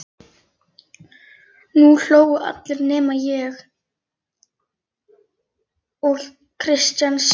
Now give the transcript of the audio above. Nú hlógu allir nema ég og Kristján sagði